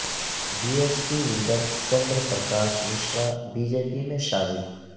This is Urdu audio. be S P leader Chandra Prakash Mishra B J P میں شامل